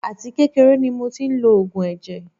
Àti kékeré ni mo tí ń lo oògùn ẹ̀jẹ̀.